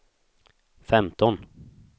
femton